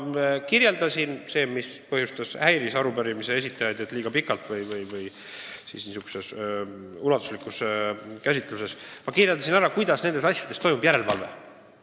Ma kirjeldasin – arupärimise esitajaid häiris, et ma tegin seda liiga pikalt või laiemalt käsitledes –, kuidas nende asjade puhul toimub järelevalve.